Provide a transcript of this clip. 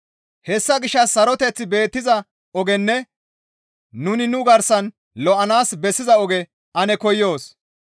Hessa gishshas saroteththi beettiza ogenne nuni nu garsan lo7anaas bessiza oge ane koyoos.